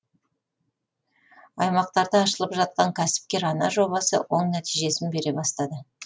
аймақтарда ашылып жатқан кәсіпкер ана жобасы оң нәтижесін бере бастады